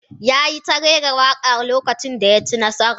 ya yi ta rera waka lokacin da ya ci nasara